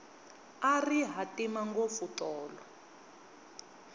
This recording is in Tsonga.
a ri hatima ngopfu tolo